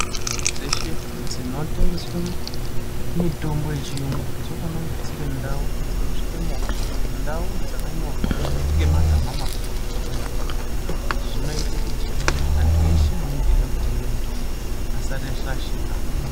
Ndau dzeshe dzinotengeswe mitombo yechiyungu dzinofana kunge dziri ndau dzinosvika movha ndau dzakanyorwa ngemagama makurutu pabanze pakona. Izvi zvinoite kuti antu eshe anenge eida kutenga mutombo asarashika.